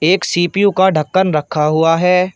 एक सी_पी_यू का ढक्कन रखा हुआ है।